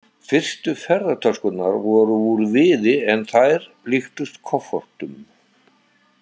Fyrstu ferðatöskurnar voru úr viði en þær líktust koffortum.